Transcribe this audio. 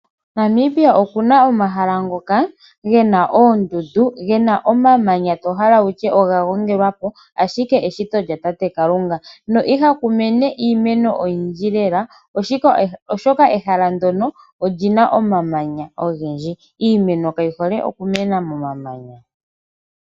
Namibia okuna omahala ngoka gena oondundu, gena omamanya to hala wutye kutya oga gongelwa po ashike eshito lyatate Kalunga. No ihaku mene iimeno oyindji lela oshoka ehala ndono olina omamanya ogendji. Iimeno kayi hole okumena momamanya.